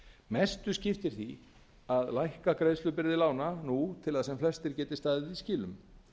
mestu skiptir því að lækka greiðslubyrði lána nú til að sem flestir geti staðið í skilum